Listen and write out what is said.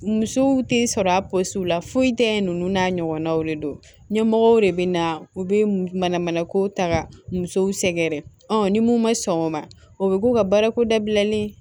Musow tɛ sɔrɔ a la foyi tɛ yen ninnu n'a ɲɔgɔnnaw de do ɲɛmɔgɔw de bɛna u bɛ mana mana ko ta ka musow sɛgɛrɛ ɔ ni mun ma sɔn o ma o bɛ k'u ka baarako dabilali